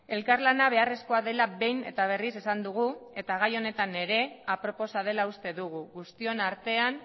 elkarlana beharrezkoa dela behin eta berriz esan dugu eta gai honetan ere aproposa dela uste dugu guztion artean